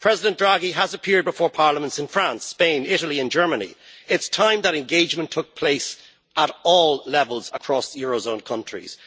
President Draghi has appeared before parliaments in France, Spain, Italy and Germany. It is time that engagement took place at all levels across eurozone countries.